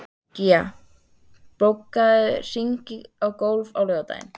Gía, bókaðu hring í golf á laugardaginn.